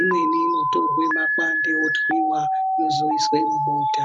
imweni inotorwe makwande yotwiwa, yozoiswe mubota.